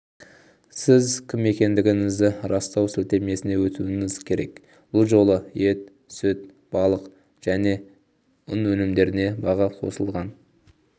сіз кім екендігіңізді растау сілтемесіне өтуіңіз керек бұл жолы ет-сүт балық және ұн өнімдеріне баға қосылған